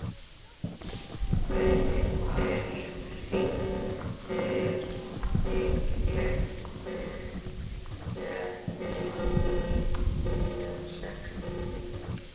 Mundhildur, hringdu í Lukku eftir níutíu og sex mínútur.